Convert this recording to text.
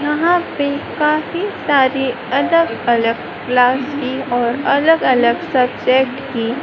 यहाँ पे काफी सारी अलग अलग क्लास की और अलग अलग सब्जेक्ट की--